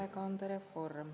Sotsiaalhoolekande reform …